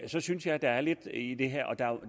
så synes jeg at der er lidt i det her og at der